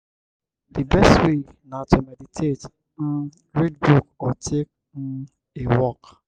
di best way na to meditate um read book or take um a walk.